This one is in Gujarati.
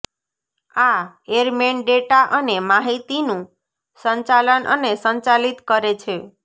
આ એરમેન ડેટા અને માહિતીનું સંચાલન અને સંચાલિત કરે છે